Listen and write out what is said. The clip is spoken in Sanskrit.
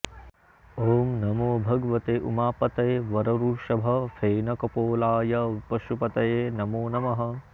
ॐ नमो भगवते उमापतये वरवृषभ फेनकपोलाय पशुपतये नमो नमः